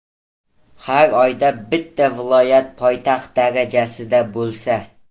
Har oyda bitta viloyat poytaxt darajasida bo‘lsa.